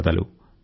నమస్కారం